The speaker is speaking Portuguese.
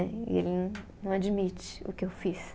E ele não, não admite o que eu fiz.